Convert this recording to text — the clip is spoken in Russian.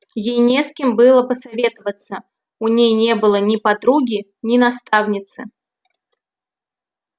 ей не с кем было посоветоваться у ней не было ни подруги ни наставницы